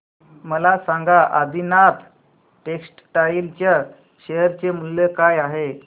मला सांगा आदिनाथ टेक्स्टटाइल च्या शेअर चे मूल्य काय आहे